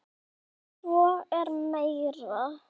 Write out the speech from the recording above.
En svo er meira.